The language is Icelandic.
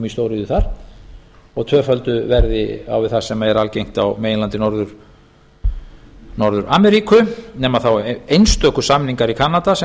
stóriðju þar og tvöföldu verði á við það sem er algengt á meginlandi norður ameríku nema þá einstöku samningar í kanada sem